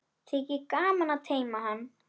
Þykir gaman að teyma hann.